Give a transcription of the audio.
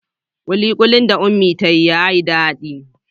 Kulikuli da Unmie ta yi yayi dadi.